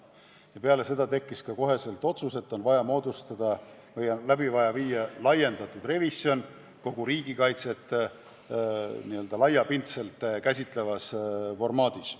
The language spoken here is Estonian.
Ja peale seda otsustati kohe, et on vaja läbi viia laiendatud revisjon kogu riigikaitset n-ö laiapindselt käsitlevas formaadis.